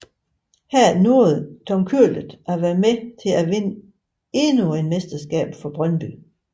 Her nåede Tom Køhlert at være med til at vinde endnu et mesterskab for Brøndby